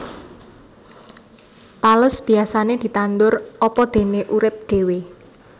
Tales biyasané ditandur apadené urip dhéwé